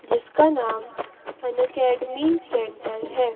जिसका नाम Unacademy centre है।